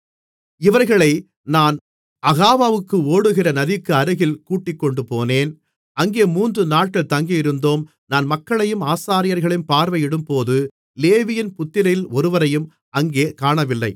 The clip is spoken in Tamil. இவர்களை நான் அகாவாவுக்கு ஓடுகிற நதிக்கு அருகில் கூட்டிக்கொண்டுபோனேன் அங்கே மூன்று நாட்கள் தங்கியிருந்தோம் நான் மக்களையும் ஆசாரியர்களையும் பார்வையிடும்போது லேவியின் புத்திரரில் ஒருவரையும் அங்கே காணவில்லை